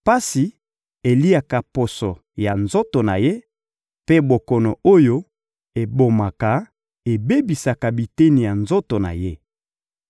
Pasi eliaka poso ya nzoto na ye mpe bokono oyo ebomaka ebebisaka biteni ya nzoto na ye.